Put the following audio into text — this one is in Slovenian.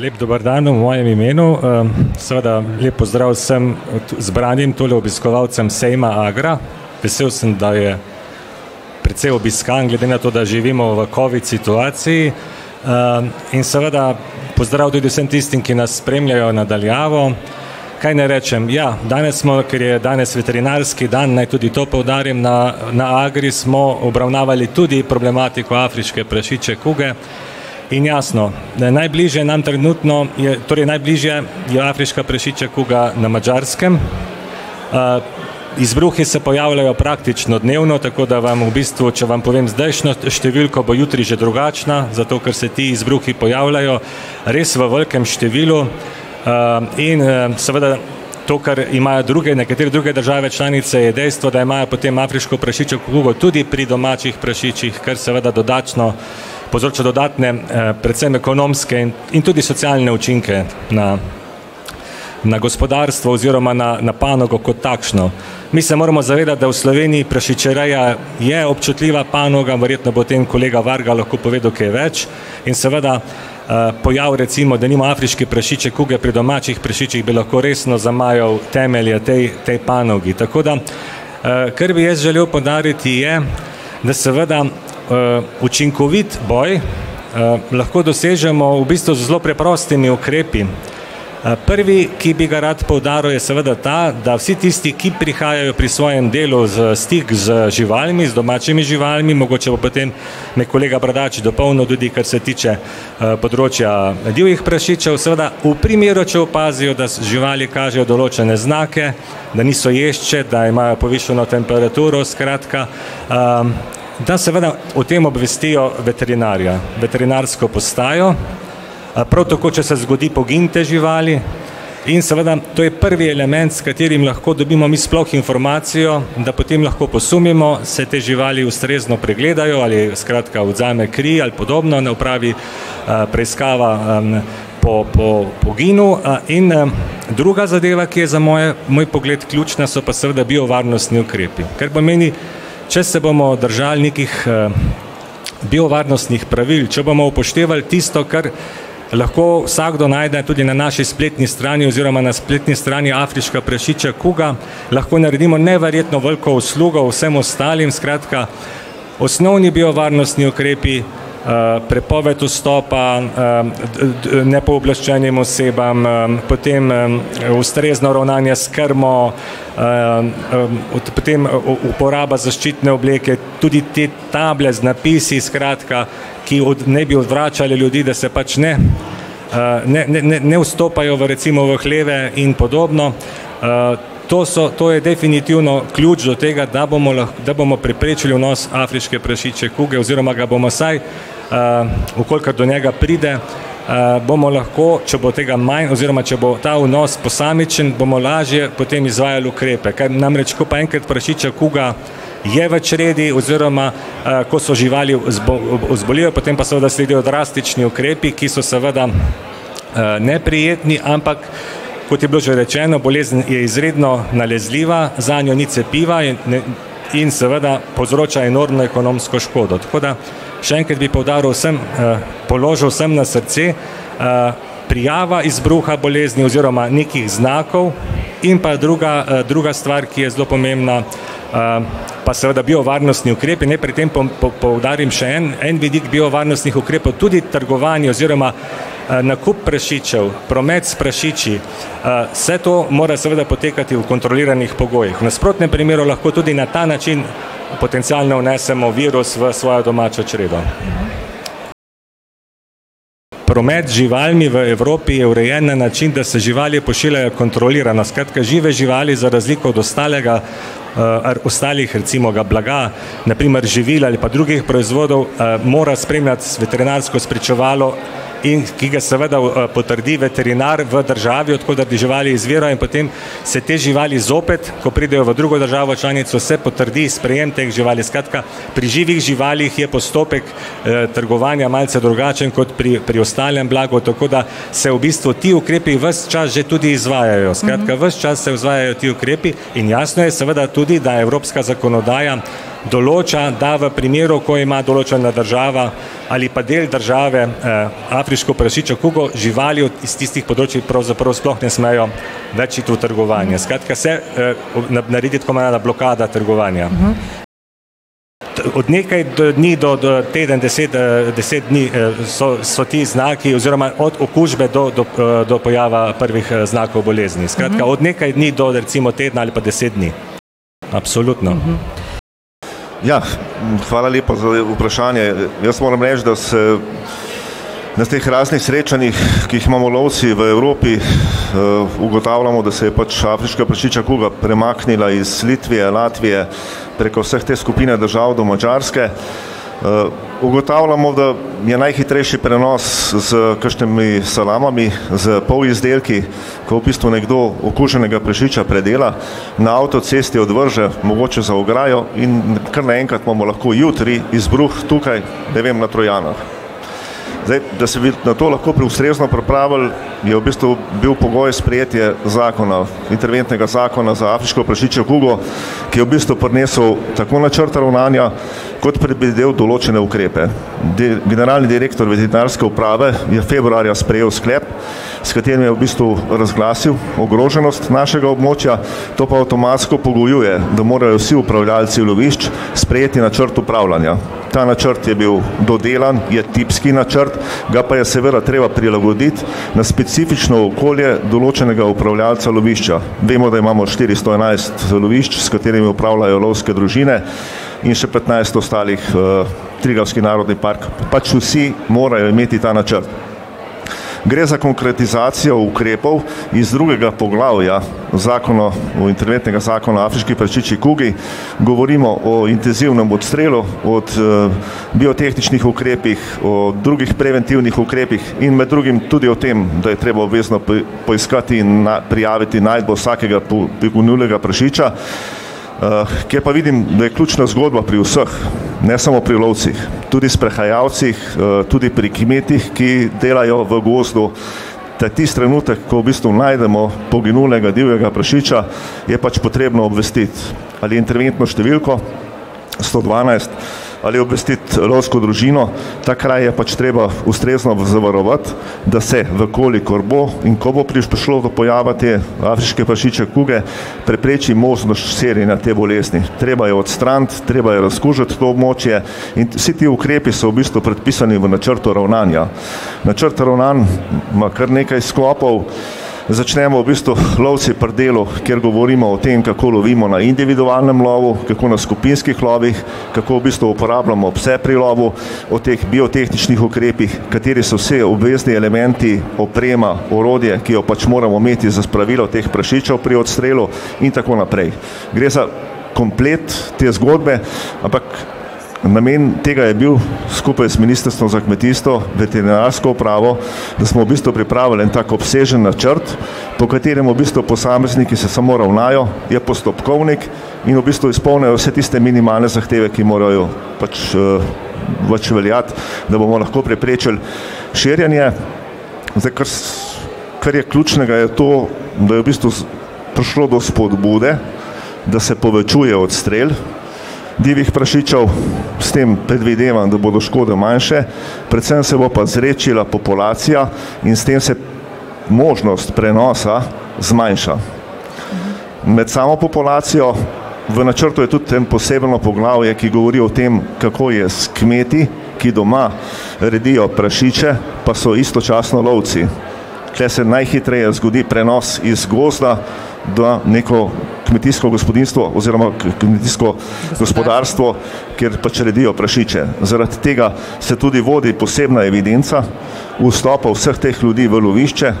lep dober dan v mojem imenu. seveda lep pozdrav vsem zbranim tule obiskovalcem sejma Agra. Vesel sem, da je precej obiskan glede na to, da živimo v covid situaciji. in seveda pozdrav tudi vsem tistim, ki nas spremljajo na daljavo. Kaj naj rečem, ja, danes smo, ker je danes veterinarski dan, naj tudi to poudarim, na na Agri smo obravnavali tudi problematiko afriške prašičje kuge. In jasno, da je najbližja nam trenutno je, torej najbližja je afriška prašičja kuga na Madžarskem, izbruhi se pojavljajo praktično dnevno, tako da vam v bistvu, če vam povem zdajšnjo številko bo jutri že drugačna, zato ker se ti izbruhi pojavljajo res v velikem številu. in, seveda to, kar imajo druge nekatere druge države članice, je dejstvo, da imajo potem afriško prašičjo kugo tudi pri domačih prašičih, kar seveda dodatno povzroča dodatne, predvsem ekonomske in, in tudi socialne učinke na, na gospodarstvo oziroma na panogo kot takšno. Mi se moramo zavedati, da v Sloveniji prašičereja je občutljiva panoga, verjetno bo potem kolega Varga povedal kaj več in seveda, pojav, recimo denimo afriške prašičje kuge pri domačih prašičih bi lahko resno zamajal temelje tej, tej panogi, tako da, kar bi jaz želel poudariti, je, da seveda učinkovit boj, lahko dosežemo v bistvu z zelo preprostimi ukrepi. prvi, ki bi ga rad poudaril, je seveda ta, da vsi tisti, ki prihajajo pri svojem delu v stik z živalmi, z domačimi živalmi, mogoče bo potem me kolega Bradač dopolnil tudi, kar se tiče, področja, divjih prašičev seveda, v primeru, če opazijo, da so živali kažejo določene znake, da niso ješče, da imajo povišano temperaturo, skratka, da seveda o tem obvestijo veterinarja, veterinarsko postajo. prav tako, če se zgodi pogin te živali. In seveda to je prvi element, s katerim lahko dobimo mi sploh informacijo, da potem lahko posumimo, se te živali ustrezno pregledajo ali skratka vzame kri ali podobno, na upravi, preiskava, po, po, poginu, in, druga zadeva, ki je za moje, moj pogled ključna, so pa seveda biovarnostni ukrepi, kar pomeni, če se bomo držali nekih, biovarnostnih pravil, če bomo upoštevali tisto, kar lahko vsakdo najde tudi na naši spletni strani oziroma na spletni strani afriška prašičja kuga, lahko naredimo neverjetno veliko uslugo vsem ostalim, skratka, osnovni biovarnostni ukrepi, prepoved vstopa, nepooblaščenim osebam, potem, ustrezno ravnanje s krmo, potem uporaba zaščitne obleke, tudi te table z napisi, skratka, ki naj bi odvračale ljudi, da se pač ne, ne, ne, ne vstopajo v recimo v hleve in podobno. to so, to je definitivno ključ do tega, da bomo da bomo preprečili vnos afriške prašičje kuge oziroma ga bomo vsaj, v kolikor do njega pride, bomo lahko, če bo tega manj, oziroma če bo ta vnos posamičen, bomo lažje potem izvajali ukrepe, kar namreč, ko pa enkrat prašičja kuga je v čredi oziroma, ko so živali zbolijo, potem pa seveda sledijo drastični ukrepi, ki so seveda, neprijetni, ampak kot je bilo že rečeno, bolezen je izredno nalezljiva, zanjo ni cepiva in in seveda povzroča enormno ekonomsko škodo, tako da še enkrat bi poudaril vsem, položil vsem na srce, prijava izbruha bolezni oziroma nekih znakov in pa druga, druga stvar, ki je zelo pomembna, pa seveda biovarnostni ukrepi, naj pri tem poudarim še en, en vidik biovarnostnih ukrepov tudi trgovanje oziroma, nakup prašičev, promet s prašiči, vse to mora seveda potekati v kontroliranih pogojih, v nasprotnem primeru lahko tudi na ta način, potencialno vnesemo virus v svojo domačo čredo. Promet z živalmi v Evropi je urejen na način, da se živali pošiljajo kontrolirano, skratka, žive živali za razliko od ostalega, ostalih recimo blaga, na primer živil ali pa drugih proizvodov, mora spremljati veterinarsko spričevalo, in ki ga seveda, potrdi veterinar v državi, od koder te živali izvirajo in potem se te živali zopet, ko pridejo v drugo državo članico, se potrdi sprejem teh živali, skratka, pri živih živalih je postopek, trgovanja malce drugačen kot pri, pri ostalem blagu, tako da se v bistvu ti ukrepi ves čas že tudi izvajajo, skratka, ves čas se izvajajo ti ukrepi in jasno je seveda tudi, da evropska zakonodaja določa, da v primeru, ko ima določena država ali pa del države, afriško prašičjo kugo, živali iz tistih področij pravzaprav sploh ne smejo več iti v trgovanje. Skratka se, naredi tako imenovana blokada trgovanja. od nekaj dni do, do teden deset, deset dni, so, so ti znaki oziroma od okužbe do, do, do pojava prvih, znakov bolezni, skratka, od nekaj dni do recimo tedna ali pa deset dni. Absolutno. Ja, hvala lepa za vprašanje, jaz moram reči, da se na teh raznih srečanjih, ki jih imamo lovci v Evropi, ugotavljamo, da se je pač afriška prašičja kuga premaknila iz Litve, Latvije preko vseh te skupine držav do Madžarske, ugotavljamo, da je najhitrejši prenos s kakšnimi salamami, s polizdelki, ko v bistvu nekdo okuženega prašiča predela, na avtocesti odvrže mogoče za ograjo, in kar naenkrat imamo lahko jutri izbruh tukaj, ne vem, na Trojanah. Zdaj, da se mi, na to lahko ustrezno pripravili, je v bistvu bil pogoj sprejetje zakona, interventnega zakona za afriško prašičjo kugo, ki je v bistvu prinesel tako načrt ravnanja kot predvidel določene ukrepe. generalni direktor veterinarske uprave je februarja sprejel sklep, s katerim je v bistvu razglasil ogroženost našega območja. To pa avtomatsko pogojuje, da morajo vsi upravljalci lovišč sprejeti načrt upravljanja. Ta načrt je bil dodelan, je tipski načrt. Ga pa je seveda treba prilagoditi na specifično okolje določenega upravljalca lovišča. Vemo, da imamo štiristo enajst lovišč, s katerimi upravljajo lovske družine. In še petnajst ostalih, Triglavski narodni park, pač vsi morajo imeti ta načrt. Gre za konkretizacijo ukrepov iz drugega poglavja zakona o, interventnega zakona o afriški prašičji kugi. Govorimo o intenzivnem odstrelu, od, biotehničnih ukrepih, o drugih preventivnih ukrepih in med drugim tudi o tem, da je treba obvezno poiskati in prijaviti najdbo vsakega poginulega prašiča, ki je pa, vidim, da je ključna zgodba pri vseh. Ne samo pri lovcih tudi sprehajalcih, tudi pri kmetih, ki delajo v gozdu, da tisti trenutek, ko v bistvu najdemo poginulega divjega prašiča, je pač potrebno obvestiti. Ali interventno številko sto dvanajst ali obvestiti lovsko družino. Ta kraj je pač treba ustrezno zavarovati, da se, v kolikor bo in ko bo prišlo do pojava te afriške prašičje kuge, prepreči možnost širjenja te bolezni, treba je odstraniti, treba je razkužiti to območje in vsi ti ukrepi so v bistvu predpisani v načrtu ravnanja. Načrt ravnanj ima kar nekaj sklopov, začnemo v bistvu lovci pri delu, kjer govorimo o tem, kako lovimo na individualnem lovu, kako na skupinskih lovih, kako v bistvu uporabljamo pse pri lovu. O teh biotehničnih ukrepih, kateri so vsi obvezni elementi, oprema, orodje, ki jo pač moramo imeti za spravilo teh prašičev pri odstrelu. In tako naprej. Gre za komplet te zgodbe, ampak namen tega je bil, skupaj z ministrstvom za kmetijstvo, veterinarsko upravo, da smo v bistvu pripravili en tak obsežen načrt, po katerem se v bistvu posamezniki se samo ravnajo, je postopkovnik in v bistvu izpolni vse tiste minimalne zahteve, ki morajo pač, več veljati, da bomo lahko preprečili širjenje. Zdaj ker se, kar je ključnega, je to, da je v prišlo do spodbude, da se povečuje odstrel divjih prašičev. S tem predvidevam, da bodo škode manjše, predvsem se bo pa zredčila populacija in s tem se možnost prenosa zmanjša. Med samo populacijo, v načrtu je tudi en posebno poglavje, ki govori o tem, kako je s kmeti, ki doma redijo prašiče, pa so istočasno lovci. Tule se najhitreje zgodi prenos iz gozda, da neko kmetijsko gospodinjstvo oziroma kmetijsko gospodarstvo, kjer pač redijo prašiče, zaradi tega se tudi vodi posebna evidenca vstopov vseh teh ljudi v lovišče,